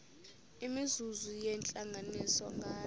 imizuzu yentlanganiso nganye